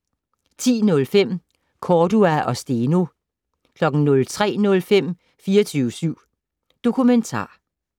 10:05: Cordua og Steno 03:05: 24syv Dokumentar